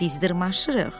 Biz dırmaşırıq.